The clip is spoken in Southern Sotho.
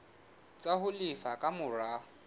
tsa ho lefa ka mora